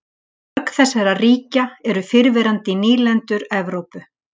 Mörg þessara ríkja eru fyrrverandi nýlendur Evrópu.